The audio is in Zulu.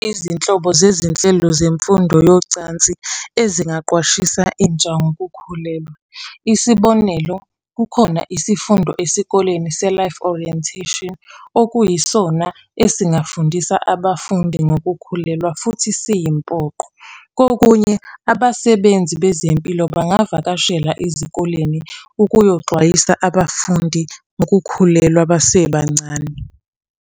Izinhlobo zezinhlelo zemfundo yocansi ezingaqwashisa intsha ngokukhulelwa. Isibonelo, kukhona isifundo esikoleni se-Life Orientation, okuyisona esingafundisa abafundi ngokukhulelwa, futhi siyimpoqo. Kokunye abasebenzi bezempilo bangavakashela ezikoleni ukuyoxwayisa abafundi ukukhulelwa basebancane.